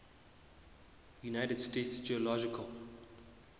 united states geological